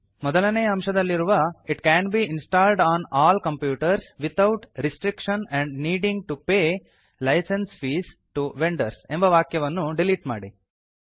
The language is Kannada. ಮೊದಲನೇಯ ಅಂಶದಲ್ಲಿರುವ it can be installed on all computers without restriction or needing to pay licence fees to vendors ಎಂಬ ವಾಕ್ಯವನ್ನು ಡಿಲೀಟ್ ಮಾಡಿ